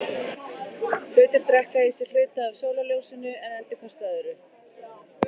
Hlutir drekka í sig hluta af sólarljósinu en endurkasta öðru.